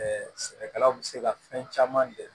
sɛnɛkɛlaw bɛ se ka fɛn caman de